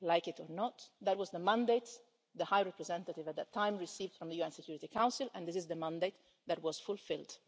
Like it or not, that was the mandate the High Representative at that time received from the UN Security Council, and this is the mandate that was fulfilled.